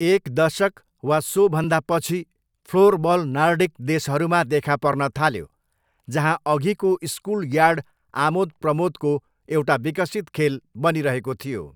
एक दशक वा सोभन्दा पछि फ्लोरबल नर्डिक देशहरूमा देखा पर्न थाल्यो जहाँ अघिको स्कुलयार्ड आमोदप्रमोदको एउटा विकसित खेल बनिरहेको थियो।